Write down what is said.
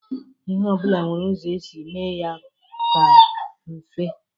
lhe obula nwere uzo e si eme ya o ka mfe.